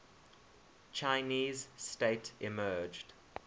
chinese state emerged